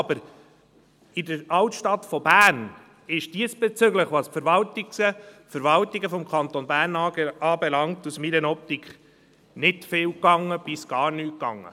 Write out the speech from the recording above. Aber in der Altstadt von Bern ist diesbezüglich, was die Verwaltungen des Kantons Bern anbelangt, meiner Ansicht nach nicht viel bis gar nichts gelaufen.